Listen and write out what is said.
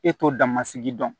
E t'o damasigi dɔn